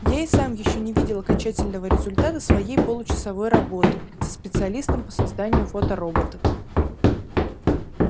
я и сам ещё не видел окончательного результата своей получасовой работы со специалистом по созданию фотороботов